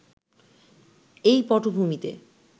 এই পটভূমিতে